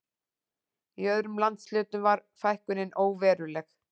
Í öðrum landshlutum var fækkunin óveruleg